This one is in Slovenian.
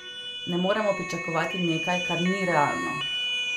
Ne moremo pričakovati nekaj, kar ni realno.